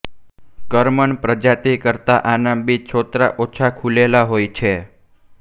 કરમન પ્રજાતિ કરતાં આના બી છોતરાં ઓછાં ખુલેલા હોય છે